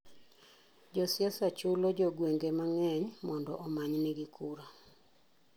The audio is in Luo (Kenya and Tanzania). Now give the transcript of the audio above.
Josiasa chulo jogweng'e mang'eny mondo omanynigi kura.